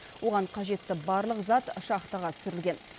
оған қажетті барлық зат шахтаға түсірілген